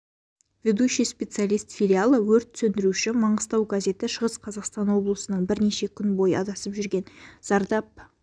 ведущий специалист филиала өрт сөндіруші маңғыстау газеті шығыс қазақстан облысының бірнеше күн бойы адасып жүрген зардап